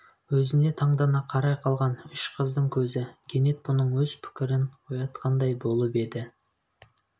өзін тандана қарай қалған үш қыздың көзі кенет бұның өз пікірін оятқандай болып еді